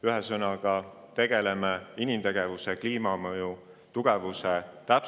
Ühesõnaga, tegeleme inimtegevuse kliimamõju.